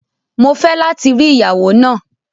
Mo fẹ lati ri iyawo naa!